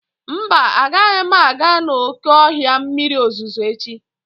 Mba, agaghị m aga n'oké ọhịa mmiri ozuzo echi.